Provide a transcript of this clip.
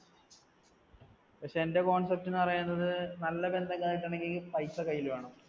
പക്ഷേ എന്‍ടെ concept എന്നു പറയുന്നത് നല്ല ബന്ധങ്ങള്‍ കിട്ടണങ്ങില്‍ പൈസ കയ്യിൽ വേണം.